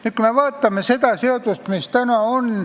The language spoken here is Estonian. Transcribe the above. Vaatame nüüd seda seadust, mis täna meie ees on.